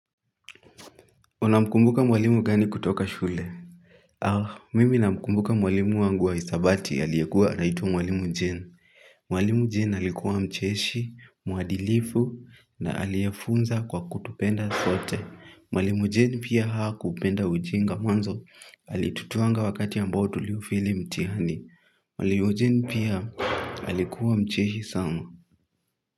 Unamkumbuka mwalimu gani kutoka shule? Ah, mimi namkumbuka mwalimu wangu wa hisabati aliyekuwa anaitwa mwalimu jen. Mwalimu jen alikuwa mcheshi, mwadilifu, na aliyefunza kwa kutupenda sote, mwalimu jen pia hakupenda ujinga mwanzo, alitutwanga wakati ambao tuliufeli mtihani, mwalimu jen pia alikuwa mcheshi sana. Muzika.